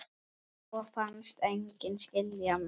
Og fannst enginn skilja mig.